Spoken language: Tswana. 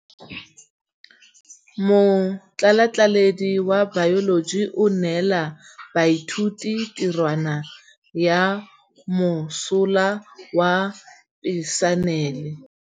Motlhatlhaledi wa baeloji o neela baithuti tirwana ya mosola wa peniselene.